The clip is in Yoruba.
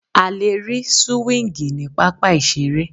A lè rí súwíngì ní pápá ìseré